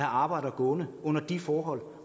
arbejdere gående under de forhold